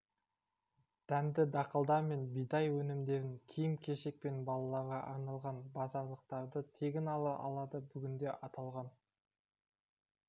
дәнді дақылдар мен бидай өнімдерін киім-кешек пен балаларға арналған базарлықтарды тегін ала алады бүгінде аталған